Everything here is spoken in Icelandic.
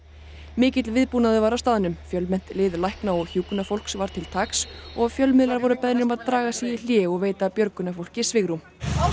mikill viðbúnaður var á staðnum fjölmennt lið lækna og hjúkrunarfólks var til taks og fjölmiðlar voru beðnir að draga sig í hlé og veita björgunarfólki svigrúm